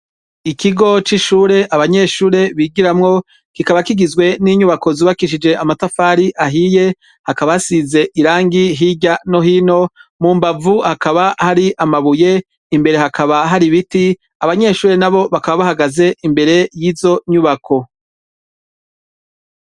Ikigo c'ishure abanyeshure bigiramwo kikaba kigizwe n'inyubako zubakishije amatafari ahiye hakaba hasize irangi hirya no hino mu mbavu hakaba Hari amabuye i mbere hakaba Hari ibiti abanyeshure nabo bakaba bahagaze imbere yizo nyubako.